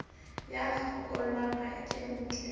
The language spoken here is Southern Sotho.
ya kgakollo ha e nkele